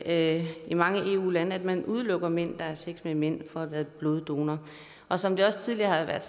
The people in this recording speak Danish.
at det i mange eu lande betyder at man udelukker mænd der har sex med mænd fra at være bloddonorer og som det også tidligere er